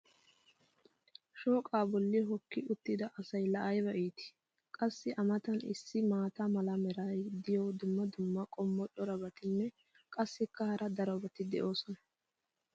shooqqaa boli hooki uttida asay laa ayba iittii! qassi a matan issi maata mala meray diyo dumma dumma qommo corabatinne qassikka hara darobatti doosona